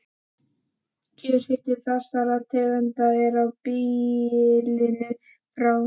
Kjörhiti þessara tegunda er á bilinu frá